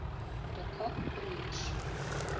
de kock broers